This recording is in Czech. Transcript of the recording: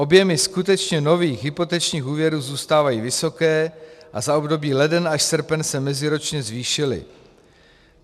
Objemy skutečně nových hypotečních úvěrů zůstávají vysoké a za období leden až srpen se meziročně zvýšily.